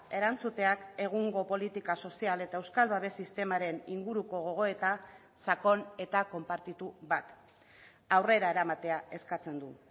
erantzuteak egungo politika sozial eta euskal babes sistemaren inguruko gogoeta sakon eta konpartitu bat aurrera eramatea eskatzen du